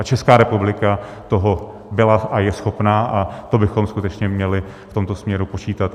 A Česká republika toho byla a je schopna a to bychom skutečně měli v tomto směru počítat.